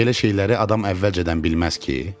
Belə şeyləri adam əvvəlcədən bilməz ki.